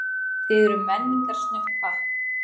Þið eruð menningarsnautt pakk.